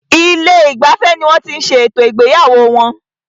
Ilé ìgbafẹ́ ní wọ́n tí ṣé ètò ìgbéyàwó wọn.